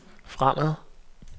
fremad